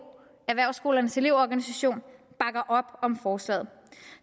erhvervsskolernes elev organisation bakker op om forslaget